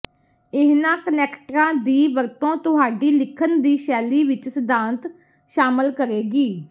ਇਹਨਾਂ ਕਨੈਕਟਰਾਂ ਦੀ ਵਰਤੋਂ ਤੁਹਾਡੀ ਲਿਖਣ ਦੀ ਸ਼ੈਲੀ ਵਿੱਚ ਸਿਧਾਂਤ ਸ਼ਾਮਲ ਕਰੇਗੀ